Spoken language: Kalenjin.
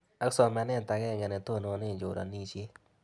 Ak somanet ag'eng'e ne tonone choranishet